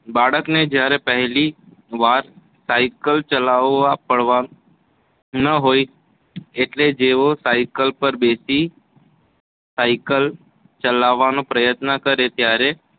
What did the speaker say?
બાળકને જ્યારે પહેલી વાર સાયકલ ચલાવતાં પાડવા ન હોય એટલે જેવો સાયકલ પર બેસી સાયકલ ચલાવવાનો પ્રયત્ન કરે ત્યારે